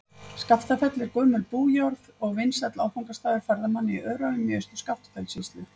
Skaftafell er gömul bújörð og vinsæll áfangastaður ferðamanna í Öræfum í Austur-Skaftafellssýslu.